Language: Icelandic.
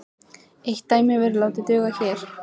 Eitt dæmi verður látið duga hér.